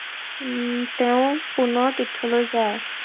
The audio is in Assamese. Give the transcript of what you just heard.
উম তেওঁ পুনৰ তীৰ্থলৈ যায়।